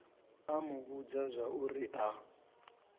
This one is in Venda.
a mu vhudza zwauri a